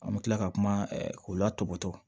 An bɛ tila ka kuma o la tɔbɔtɔ